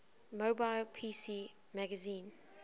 mobile pc magazine